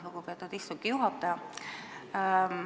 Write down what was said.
Lugupeetud ettekandja!